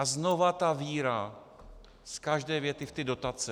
A znovu ta víra z každé věty v ty dotace.